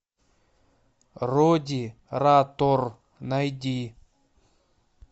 роди ратор найди